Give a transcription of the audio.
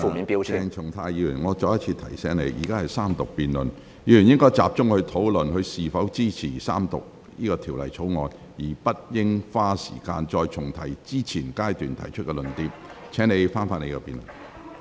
鄭松泰議員，我再次提醒你，現在是三讀辯論，議員應集中討論是否支持三讀《條例草案》，而不應再花時間重提之前已曾提出的論點。